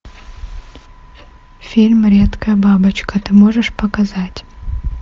фильм редкая бабочка ты можешь показать